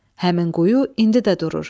Həmin quyu indi də durur.